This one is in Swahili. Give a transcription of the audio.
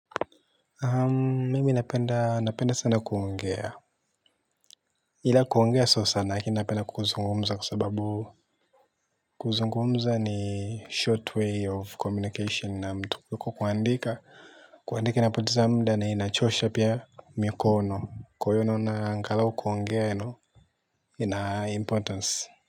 Mimi napenda sana kuongea ila kuongea sio sana lakini napenda kuzungumza kwa sababu kuzungumza ni short way of communication na mtu kuliko kuandika kuandika inapoteza muda na inachosha pia mikono kwa hiyo naona angalau kuongea ina importance.